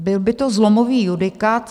Byl by to zlomový judikát.